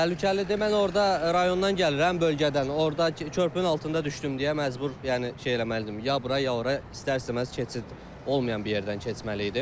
Təhlükəlidir, mən orda rayondan gəlirəm, bölgədən, orda körpünün altında düşdüm deyə məcbur yəni şey eləməlidim, ya bura ya ora, istər-istəməz keçid olmayan bir yerdən keçməli idim.